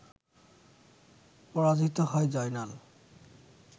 পরাজিত হয় জয়নাল